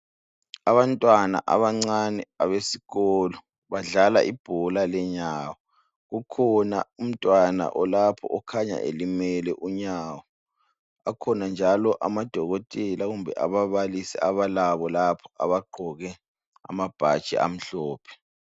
Abantwana abancane abesikolo badlala ibhola lenyawo, ukhona umntwana lapho okhanya elimele unyawo. Akhona njalo amadokotela kumbe ababalisi abalabo lapha abagqoke amabhatshi amhlophe.